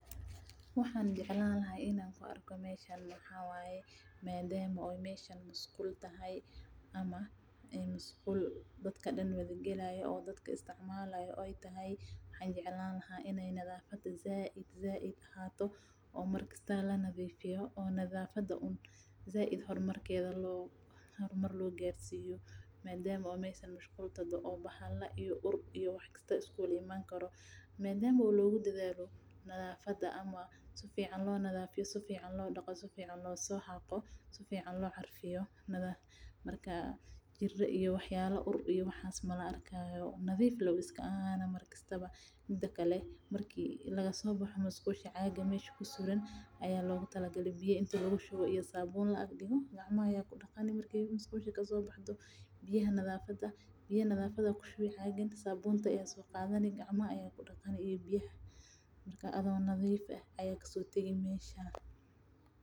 Waxaan jeclaan lahaa inaan ku arko meeshan madama aay tahay meel musqul waxaan jeclaan lahaa nadafada inaay ahaato sifican loo xaqo sifican loo daqo nadiif ayuu iska ahaana marki laga soo baxo caaga meesha yaala ayaa loogu tala galay in gacmaha lagu daqdo sabuun ayaa kushubani marka adhiga oo nadiif ah ayaa kasoo tageysa meesha.